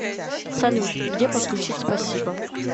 салют где подключить спасибо